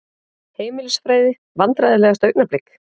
Heimilisfræði Vandræðalegasta augnablik?